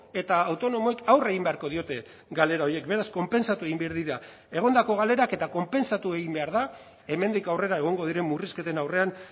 eta autonomoek aurre egin beharko diote galera horiek beraz konpentsatu egin behar dira egondako galerak eta konpentsatu egin behar da hemendik aurrera egongo diren murrizketen aurrean